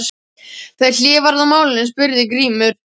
Þegar hlé varð á málinu spurði Grímur